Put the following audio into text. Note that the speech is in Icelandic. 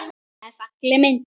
Þetta er falleg mynd.